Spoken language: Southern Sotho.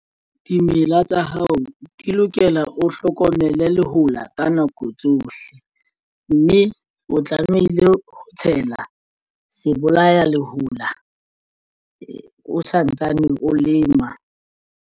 Dimela tsa hao di lokela o hlokomele lehola ka nako tsohle, mme o tlamehile ho tshela sebolaya lehola o santsane o lema.